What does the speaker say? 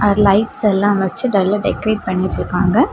Lights எல்லாம் வச்சு நல்லா டெகரேட் பண்ணி வச்சிருக்காங்க.